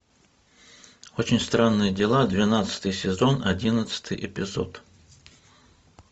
очень странные дела двенадцатый сезон одиннадцатый эпизод